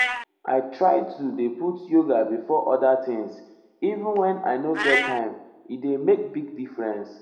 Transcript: i try to dey put yoga before other things even wen i um nor get time e dey make big differnce.